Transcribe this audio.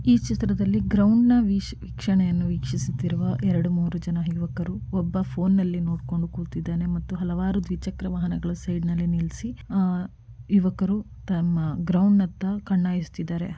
ಈ ಚಿತ್ರದಲ್ಲಿ ಗ್ರೌಂಡ್‌ನ ವಿಕ್ಷಣೆಯನ್ನು ವೀಕ್ಷಿಸುತ್ತಿರುವ ಎರಡು ಮೂರು ಯುವಕರು ಒಬ್ಬ ಪೋನ್‌ನಲ್ಲಿ ನೋಡಿಕೊಂಡು ಕೂತಿದ್ದಾನೆ ಮತ್ತು ಹಲವಾರು ದ್ವಿಚಕ್ರವಾಹನಗಳು ನಿಲ್ಲಿಸಿ ಯುವಕರು ತಮ್ಮ ಗ್ರೌಂಡ್‌ನತ್ತ ಕಣ್ಣ ಹಾಯಸ್ತಿದರೆ.